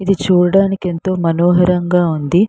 ఇది చూడడానికి ఎంతో మొనోహారంగా ఉంది.